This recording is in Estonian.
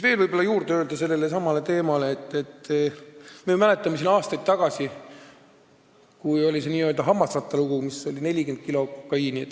Veel võib öelda sellelesamale teemale juurde, et me mäletame aastaid tagasi olnud n-ö hammasratta lugu, kui tegemist oli 40 kilo kokaiiniga.